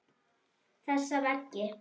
Þessa veggi.